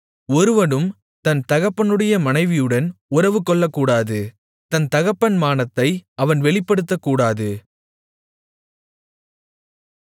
ஒருவனும் தன் தகப்பனுடைய மனைவியுடன் உறவுகொள்ளக்கூடாது தன் தகப்பன் மானத்தை அவன் வெளிப்படுத்தக்கூடாது